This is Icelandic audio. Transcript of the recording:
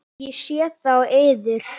Ég sé það á yður.